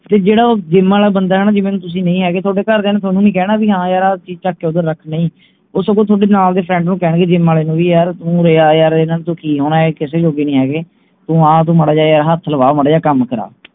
ਤੇ ਜਿਹੜਾ ਉਹ gym ਆਲਾ ਬੰਦਾ ਹੈ ਨਾ ਜਿਵੇਂ ਤੁਸੀਂ ਨਹੀਂ ਹੈਗੇ ਥੋਡੇ ਘਰ ਦੀਆਂ ਨੇ ਥੋਨੂੰ ਵੀ ਹਾਂ ਯਾਰ ਆਹ ਚੀਜ ਚੁੱਕ ਕੇ ਓਦਰ ਰੱਖ ਨਹੀਂ ਉਹ ਸਗੋਂ ਥੋਡੇ ਨਾਲ ਦੇ friend ਨੂੰ ਕਹਿਣਗੇ gym ਆਲੇ ਨੂੰ ਵੀ ਯਾਰ ਤੂੰ ਉਰੇ ਆ ਯਾਰ ਇਹਨਾਂ ਤੋਂ ਕਿ ਹੋਣੇ ਇਹ ਕਿਸੇ ਜੋਗੇ ਨਹੀਂ ਹੈਗੇ ਤੂੰ ਆ ਤੂੰ ਮਾੜਾ ਜਿਹਾ ਹੱਥ ਲਵਾ ਮਾੜਾ ਜਿਹਾ ਕੰਮ ਕਰਾ